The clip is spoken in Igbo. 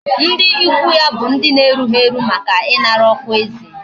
Ndi ikwu ya bu ndi na erughi eru, Maka inara okwa eze